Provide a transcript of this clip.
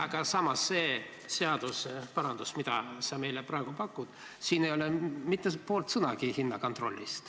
Aga samas see seadusmuudatus, mida sa praegu meile pakud, ei puuduta mitte poole sõnagagi hinnakontrolli.